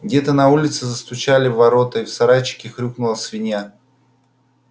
где-то на улице застучали в ворота и в сарайчике хрюкнула свинья